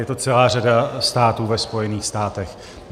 Je to celá řada států ve Spojených státech.